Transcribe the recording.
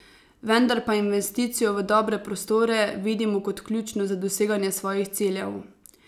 Vendar pa investicijo v dobre prostore vidimo kot ključno za doseganje svojih ciljev.